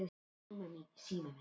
Þá hefur honum liðið vel.